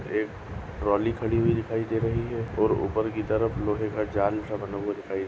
एक ट्रौली खड़ी हुई दिखाई दे रही है और ऊपर की तरफ लोहे का जाल सा बना हुआ दिखाई --